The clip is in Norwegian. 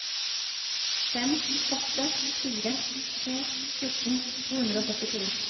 fem åtte fire to fjorten to hundre og syttito